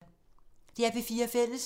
DR P4 Fælles